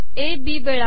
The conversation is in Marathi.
ए बी वेळा